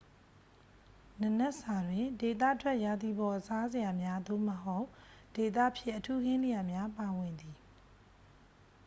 နံနက်စာတွင် ဒေသထွက် ရာသီပေါ်စားစရာများ သို့မဟုတ် ဒေသဖြစ်အထူးဟင်းလျာများ ပါဝင်သည်